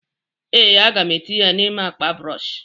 ee, a ga m etinye ya n'ime akpa brọsh